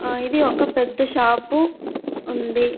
ఆ ఇది ఒక పెద్ద షాపు ఉంది.